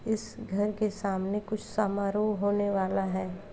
इस घर के सामने कुछ समारोह होने वाला है।